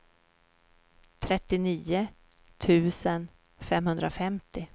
trettionio tusen femhundrafemtio